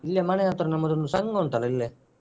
ಇಲ್ಲಿಯೆ ಮನೆಯ ಹತ್ರ ನಮ್ಮದೊಂದು ಸಂಘ ಉಂಟಲ್ಲ ಇಲ್ಲೇ.